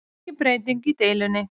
Engin breyting í deilunni